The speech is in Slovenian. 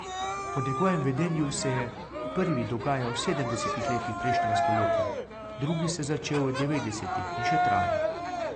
Po njegovem vedenju se je prvi dogajal v sedemdesetih letih prejšnjega stoletja, drugi se je začel v devetdesetih in še traja.